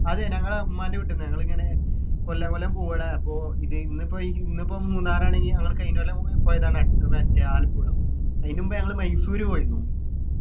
അതെ ഞങ്ങളെ ഉമ്മാൻ്റെ വീട്ടിന്ന് ഞങ്ങളിങ്ങനെ കൊല്ലാകൊല്ലം പോവുഡാ അപ്പൊ ഇത് ഇന്നിപ്പോ ഇന്നിപ്പം മൂന്നാർ ആണെങ്കിൽ നങ്ങൾ കഴിഞ്ഞകൊല്ലം പോയ് പോയതാണ് മറ്റേ ആലപ്പുഴ അയിന് മുമ്പ് നങ്ങള് മൈസൂർ പോയിരുന്നു